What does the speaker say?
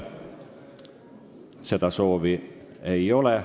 Seda soovi ei ole.